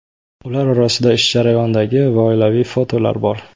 Ular orasida ish jarayonidagi va oilaviy fotolar bor.